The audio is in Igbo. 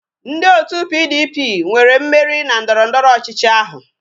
Ndị otu PDP nwere mmeri na ndọrọndọrọ ọchịchị ahụ